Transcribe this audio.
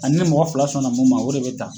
A ni ne mɔgɔ fila sɔn na mun ma o de be ta